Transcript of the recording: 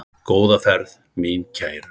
Góða ferð mín kæru.